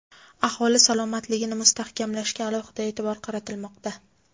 aholi salomatligini mustahkamlashga alohida e’tibor qaratilmoqda.